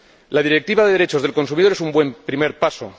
La Directiva de derechos del consumidor es un buen primer paso.